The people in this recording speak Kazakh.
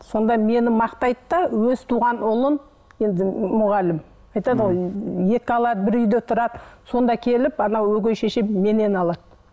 сонда мені мақтайды да өз туған ұлын енді мұғалім айтады ғой екі алады бір үйде тұрады сонда келіп анау өгей шешем менен алады